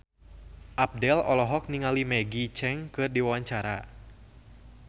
Abdel olohok ningali Maggie Cheung keur diwawancara